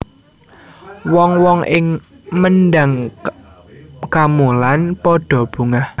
Wong wong ing Mendhang Kamolan padha bungah